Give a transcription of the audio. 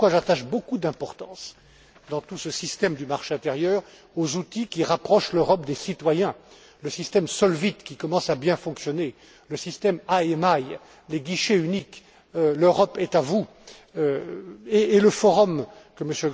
Voilà pourquoi j'attache beaucoup d'importance, dans tout ce système du marché intérieur, aux outils qui rapprochent l'Europe des citoyens le système Solvit, qui commence à bien fonctionner, le système IMI, les guichets uniques, l'Europe est à vous et le Forum, que M.